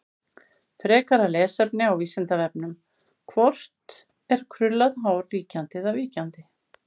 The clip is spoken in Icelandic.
Frekara lesefni á Vísindavefnum: Hvort er krullað hár ríkjandi eða víkjandi?